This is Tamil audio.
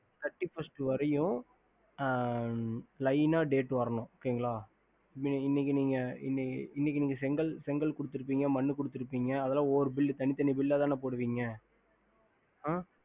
thirty first வரிக்கும் line date வரணும் okay ல இன்னக்கி நீங்க செங்கல் குடுத்து இருப்பிங்க மனுகுடுத்து இருப்பிங்கஅதல ஒவ்வொரு bill தனித்தனி bill போடுவிங்க